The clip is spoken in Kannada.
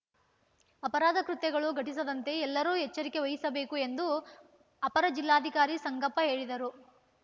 ಅಪರಾಧ ಕೃತ್ಯಗಳು ಘಟಿಸದಂತೆ ಎಲ್ಲರೂ ಎಚ್ಚರಿಕೆ ವಹಿಸಬೇಕು ಎಂದು ಅಪರ ಜಿಲ್ಲಾಧಿಕಾರಿ ಸಂಗಪ್ಪ ಹೇಳಿದರು